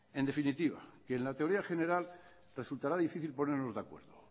en definitiva que en la teoría general resultara difícil ponernos de acuerdo